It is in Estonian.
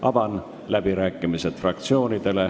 Avan fraktsioonide läbirääkimised.